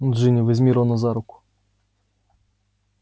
джинни возьми рона за руку